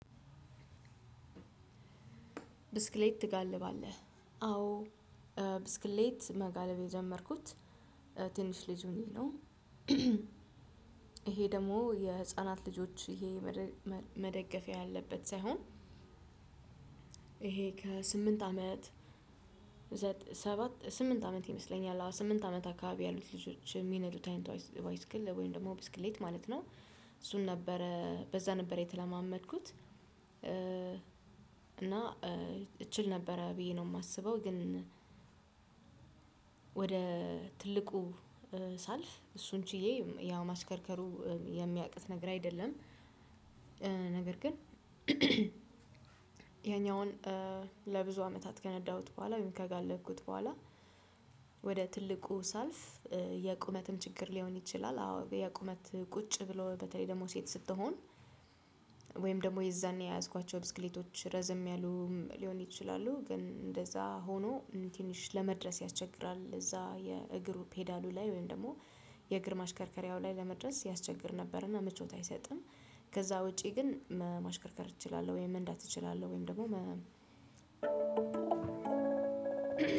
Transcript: ብስክሌት ትጋልባለህ አዎ ብስክሌት መጋለብ የጀመርኩት ትንሽ ልጅ ሆኘ ነው። ይሄ ደግሞ የህፃናት ልጆች ይሄ መደገፊያ ያለበት ሳይሆን ይሄ ከስምንት አመት ስምንት አመት ይመስለኛል ስምንት አመት አካባቢ ያሉ ልጆች ሚነዱት አይነት ባይስክል ወይም ደግሞ ብስክሌት ማለት ነው። እሱን ነበረ በዛ ነበር የተለማመድኩት። እና እችል ነበረ ብዬ ነው ማስበው ግን ወደ ትልቁ ሳልፍ እሱን ችዬ ያው ማሽከርከሩ የሚያቅት ነገር አይደለም። ነገር ግን ያኛውን ለብዙ አመታት ከነዳሁት በኋላ ወይም ከጋለብኩት በኋላ። ወደ ትልቁ ሳልፍ የቁመትም ችግር ሊሆን ይችላል። አዎ የቁመት ቁጭ ብሎ በተለይ ደግሞ ሴት ስትሆን። ወይም ደግሞ የዛኔ የያዝኳቸው ብስክሌቶች ረዘም ያሉ ሊሆን ይችላሉ። ግን እንደዛ ሆኖ ትንሽ ለመድረስ ያስቸግራል እዛ የእግሩ ፔዳሉ ላይ ወይም ደግሞ የእግር ማሽከርከሪያው ላይ ለመድረስ ያስቸግር ነበርና ምቾት አይሰጥም። ከዛ ውጪ ግን ማሽከርከር እችላለሁ ወይም መንዳት እችላለሁ ወይም ደግሞ